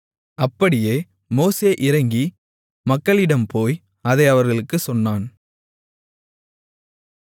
அப்படியே மோசே இறங்கி மக்களிடம் போய் அதை அவர்களுக்குச் சொன்னான்